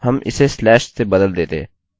यदि हमारे पास स्लैश होता हम इसे स्लैश से बदल देते